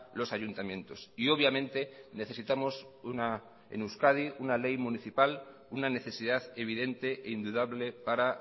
los ayuntamientos y obviamente necesitamos una en euskadi una ley municipal una necesidad evidente e indudable para